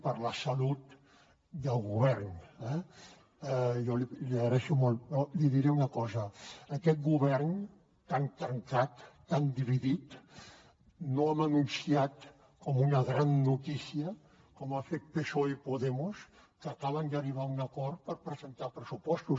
però li diré una cosa aquest govern tan trencat tan dividit no hem anunciat com una gran notícia com ha fet psoe i podemos que acaben d’arribar a un acord per presentar pressupostos